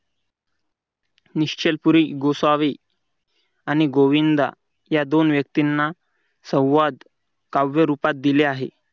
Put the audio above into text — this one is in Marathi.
निश्चल पूर्वी गोसावी आणि गोविंदा या दोन व्यक्तींना संवाद कावेरूपात दिले आहे.